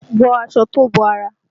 Wọ aṣọ tó bo ara!